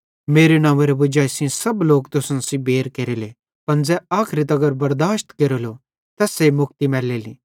मेरे नंव्वेरो वजाई सेइं सब लोक तुसन सेइं बैर केरेले पन ज़ै आखरी तगर बरदाशत केरेलो तैस्से मुक्ति मैलेली